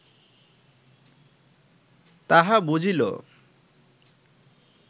তাহা বুঝিল